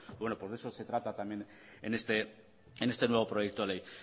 bueno pues de eso se trata también en este nuevo proyecto ley